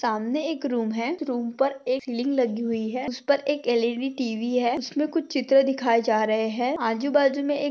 सामने एक रूम है रूम पर एक लिंग लगी हुई है उसे पर एक एल_इ_डी टी_वी है उसमें कुछ चित्र दिखाए जा रहे हैं। आजू-बाजू में --